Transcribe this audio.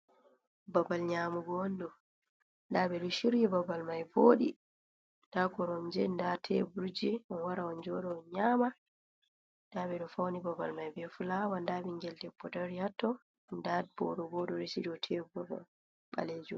Babal nyamugo on ɗo, nda ɓe ɗo shiryi babal mai voɗi, nda koromje, nda teburje. On wara on joɗa on nyaama, nda ɓe ɗo fauni babal mai be fulawa, nda ɓingel debbo dari hatto, nda boro bo o ɗo resi dou tebur ɓaleejum.